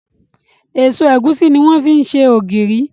Èso ẹ̀gúsí ní wọ́n fi ṣe ògìrì.